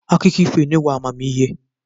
Akụkọ ifo enyewo amamihe.